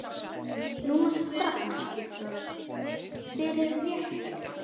Núna strax- fyrir réttir.